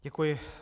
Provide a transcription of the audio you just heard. Děkuji.